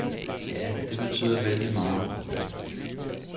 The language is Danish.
Ja, det betyder vældig meget.